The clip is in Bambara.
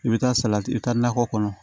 I bɛ taa salati i bɛ taa nakɔ kɔnɔ